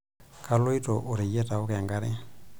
Kaloito oreyiet aoku enkare.